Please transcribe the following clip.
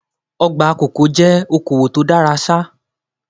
Ọgbà kòkó jẹ́ okowò tó dára ṣá.